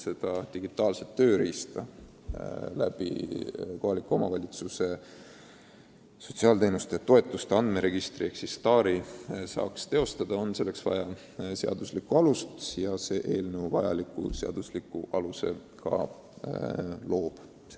Seda digitaalset tööriista peab saama kasutada kohaliku omavalitsuse sotsiaalteenuste ja -toetuste andmeregistri ehk STAR-i kaudu ja tulevane seadus selle aluse ka loob.